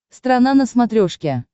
страна на смотрешке